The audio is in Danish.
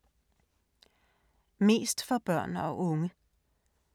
Mest for børn og unge